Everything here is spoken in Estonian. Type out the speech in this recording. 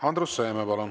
Andrus Seeme, palun!